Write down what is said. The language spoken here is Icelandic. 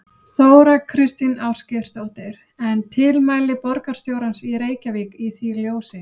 Þóra Kristín Ásgeirsdóttir: En tilmæli borgarstjórans í Reykjavík í því ljósi?